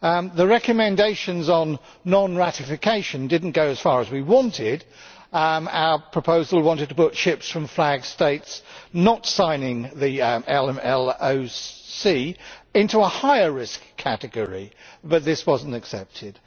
The recommendations on non ratification did not go as far as we wanted our proposal wanted to put ships from flag States not signing the MLC into a higher risk category but this was not accepted.